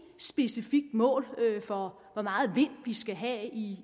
specifikt mål for hvor meget vind vi skal have i